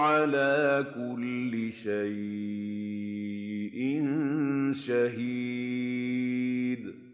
عَلَىٰ كُلِّ شَيْءٍ شَهِيدٌ